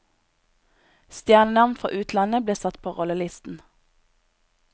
Stjernenavn fra utlandet ble satt på rollelisten.